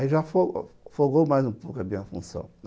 Aí já fo folgou mais um pouco a minha função.